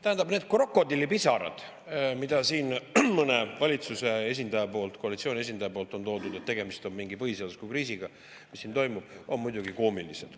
Tähendab, need krokodillipisarad, mida siin mõni valitsuse esindaja, koalitsiooni esindaja on, et tegemist on mingi põhiseadusliku kriisiga, mis siin toimub, on muidugi koomilised.